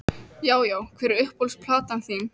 Já Já Hver er uppáhalds platan þín?